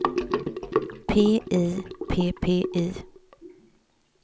P I P P I